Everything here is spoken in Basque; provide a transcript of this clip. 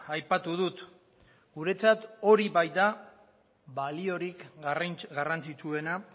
aipatu dut guretzat hori baita baliorik garrantzitsuena